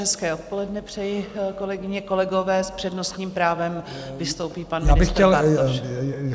Hezké odpoledne přeji, kolegyně, kolegové, s přednostním právem vystoupí pan ministr Bartoš.